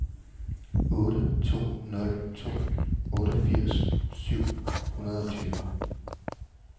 otte to nul to otteogfirs syv hundrede og tyve